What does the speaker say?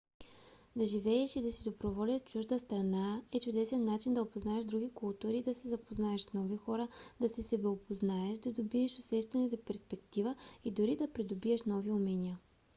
да живееш и да си доброволец в чужда страна е чудесен начин да опознаеш други култури да се запознаеш с нови хора да се себеопознаеш да добиеш усещане за перспектива и дори да придобиеш нови умения